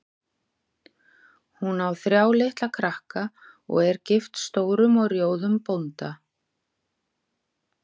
Hún á þrjá litla krakka og er gift stórum og rjóðum bónda.